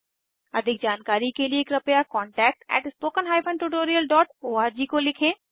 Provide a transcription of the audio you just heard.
अधिक जानकारी के लिए कृपया contactspoken tutorialorg को लिखें